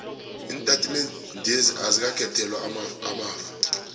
iintatimendezi azikakhethelwa amafa